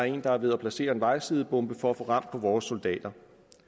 en der er ved at placere en vejsidebombe for at få ram på vores soldater